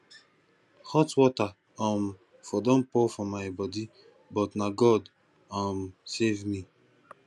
hot water um for don pour for my body but na god um save me